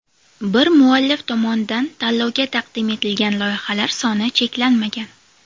Bir muallif tomonidan tanlovga taqdim etilgan loyihalar soni cheklanmagan.